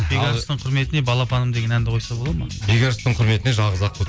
бекарыстың құрметіне балапаным деген әнді қойса болады ма бекарыстың құрметіне жалғыз аққу